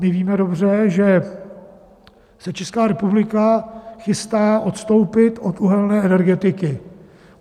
My víme dobře, že se Česká republika chystá odstoupit od uhelné energetiky.